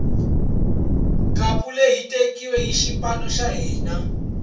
khapu leyi yi tekiwile hi xipano xa hina